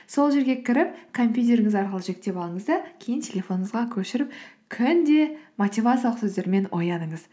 сол жерге кіріп компьютеріңіз арқылы жүктеп алыңыз да кейін телефоныңызға көшіріп күнде мотивациялық сөздермен ояныңыз